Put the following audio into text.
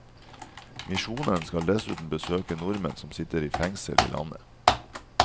Misjonen skal dessuten besøke nordmenn som sitter i fengsel i landet.